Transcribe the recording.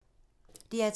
DR P2